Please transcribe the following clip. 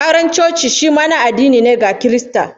Auren coci shi ma na addini ne, ga Kirista